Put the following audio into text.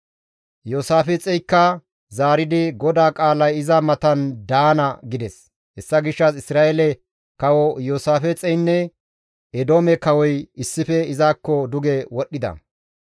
Iyoosaafixeykka zaaridi, «GODAA qaalay iza matan daana» gides. Hessa gishshas Isra7eele kawo, Iyoosaafixeynne Eedoome kawoy issife izakko duge wodhdhida.